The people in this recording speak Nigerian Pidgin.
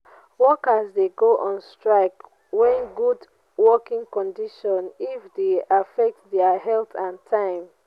workers de go on strike when good working conditrion if e de affect their health and time